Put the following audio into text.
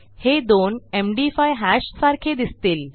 हे दोन MD five hash सारखे दिसतील